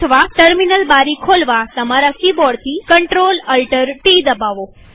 અથવા ટર્મિનલ બારી ખોલવા તમારા કિબોર્ડથી ctrl alt ટી દબાવો